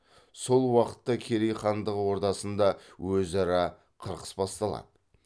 сол уақытта керей хандығы ордасында өзара қырқыс басталады